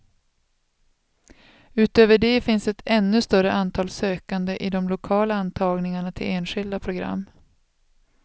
Utöver det finns ett ännu större antal sökande i de lokala antagningarna till enskilda program.